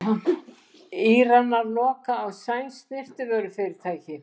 Íranar loka á sænskt snyrtivörufyrirtæki